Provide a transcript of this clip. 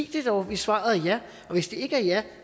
det dog hvis svaret er ja og hvis det ikke er ja